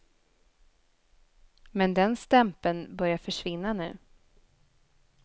Men den stämpeln börjar försvinna nu.